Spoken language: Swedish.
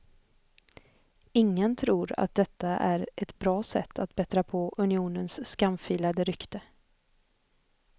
Ingen tror att detta är ett bra sätt att bättra på unionens skamfilade rykte.